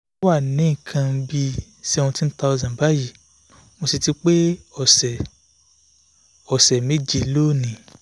ó wà ní nǹkan bí seventeen thousand báyìí mo sì ti pé ọ̀sẹ̀ ọ̀sẹ̀ méje lónìí